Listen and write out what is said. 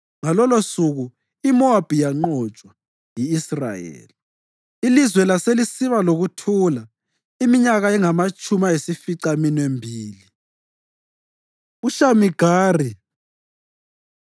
Ngalolosuku iMowabi yanqotshwa yi-Israyeli, ilizwe laselisiba lokuthula iminyaka engamatshumi ayisificaminwembili. UShamigari